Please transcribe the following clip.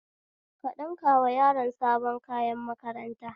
Ka ɗinkawa yaron sabon kayan makaranta